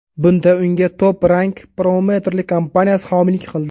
Bunda unga Top Rank promouterlik kompaniyasi homiylik qildi.